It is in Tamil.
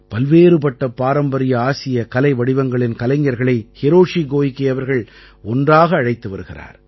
பல்வேறுபட்ட பாரம்பரிய ஆசிய கலைவடிவங்களின் கலைஞர்களை ஹிரோஷி கோயிகே அவர்கள் ஒன்றாக அழைத்து வருகிறார்